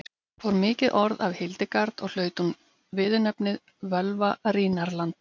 fór mikið orð af hildegard og hlaut hún viðurnefnið völva rínarlanda